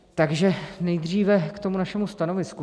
Takže nejdříve k tomu našemu stanovisku.